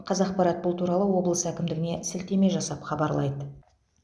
қазақпарат бұл туралы облыс әкімдігіне сілтеме жасап хабарлайды